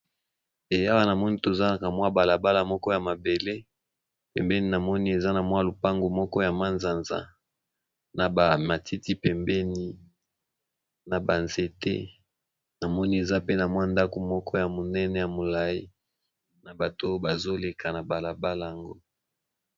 Awa namoni toza na balabala ya mabele pembeni koza lopango ya manzanza na matiti pembeni na ba nzete namoni ndako ya munene pe molayi batu pe bazoleka.